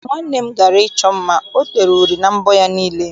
Mgbe nwanne m gara ịchọ mma, ọ tere uri na mbọ ya niile.